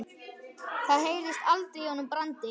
Það heyrðist aldrei í honum Brandi.